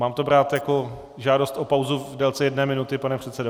Mám to brát jako žádost o pauzu v délce jedné minuty, pane předsedo?